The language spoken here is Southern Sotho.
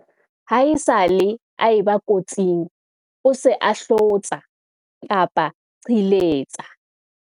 Ha esale a e ba kotsing o se a hlotsa-qhiletsa.